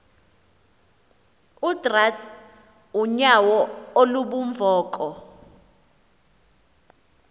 utrath unyauo lubunvoko